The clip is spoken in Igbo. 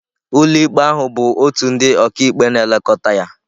Ụlọikpe ahụ bụ òtù ndị ọkàikpe na-elekọta ya.